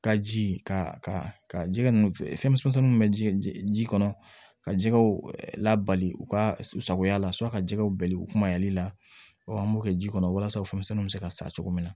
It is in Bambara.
Ka ji ka ka jɛgɛ n fɛnmisɛnninw bɛ ji kɔnɔ ka jɛgɛw labali u ka sagoya la ka jɛgɛw bali u kumali la an b'o kɛ ji kɔnɔ walasa o fɛnmisɛnw bɛ se ka sa cogo min na